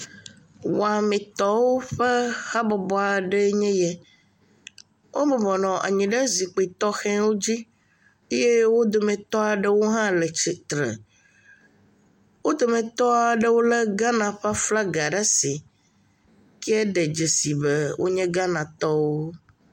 Wɔmetɔwo ƒe habɔbɔ aɖe nye eya wobɔbɔ nɔ anyi ɖe zikpui tɔxɛ aɖewo dzi eye wodometɔ aɖewo ha le titre wodometɔ aɖewo le Ghana ƒe aflaga ɖe asi ke ɖe dzesi be wonye Ghanatɔwo